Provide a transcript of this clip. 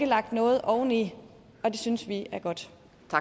lagt noget oveni og det synes vi er godt